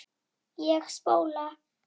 Ég spóla.